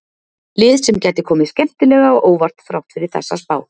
Lið sem gæti komið skemmtilega á óvart þrátt fyrir þessa spá.